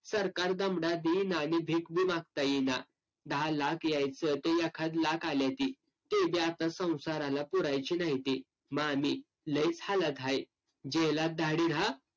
सरकार दमडा देईना आणि भीक बी मागता येईना. दहा लाख यायचं ते एखादं लाख आल्याती. ते बी आता संसाराला पुरायचे न्हाईती. मामी, लईच हालात हाय. रहा